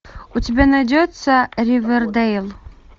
у тебя найдется ривердейл